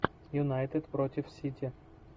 юнайтед против сити